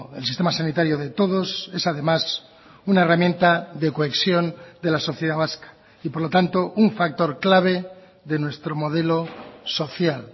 el sistema sanitario de todos es además una herramienta de cohesión de la sociedad vasca y por lo tanto un factor clave de nuestro modelo social